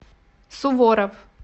суворов